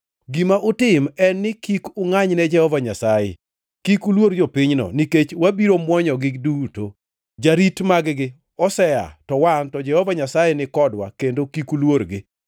Gima utim en ni kik ungʼanyne Jehova Nyasaye. Kik uluor jopinyno, nikech wabiro mwonyogi duto. Jarit mag-gi osea, to wan to Jehova Nyasaye nikodwa kendo kik uluorgi.”